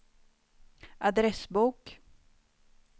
adressbok